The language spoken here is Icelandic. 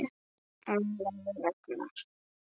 Ólafur Ragnar.